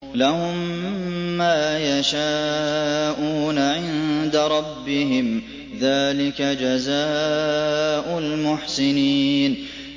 لَهُم مَّا يَشَاءُونَ عِندَ رَبِّهِمْ ۚ ذَٰلِكَ جَزَاءُ الْمُحْسِنِينَ